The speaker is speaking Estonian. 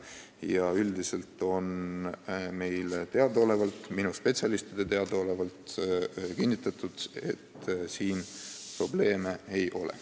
Ja üldiselt on meie spetsialistidele minu teada kinnitatud, et probleeme ei ole.